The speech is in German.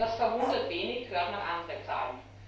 Das verwundert wenig, hört man andere Zahlen.